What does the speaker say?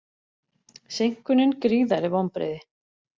Seinkunin gríðarleg vonbrigði